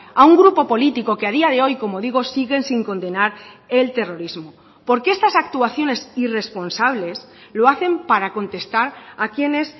a un grupo político que a día de hoy como digo siguen sin condenar el terrorismo porque estas actuaciones irresponsables lo hacen para contestar a quienes